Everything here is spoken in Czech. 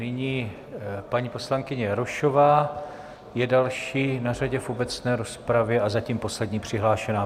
Nyní paní poslankyně Jarošová je další na řadě v obecné rozpravě a zatím poslední přihlášená.